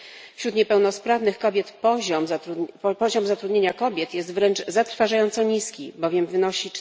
Wśród niepełnosprawnych kobiet poziom zatrudnienia jest wręcz zatrważająco niski, bowiem wynosi